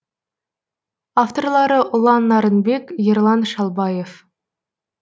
авторлары ұлан нарынбек ерлан шалбаев